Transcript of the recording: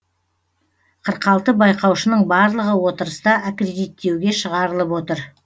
қырық алты байқаушының барлығы отырыста аккредиттеуге шығарылып отыр